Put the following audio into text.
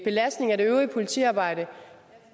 belastning af det øvrige politiarbejde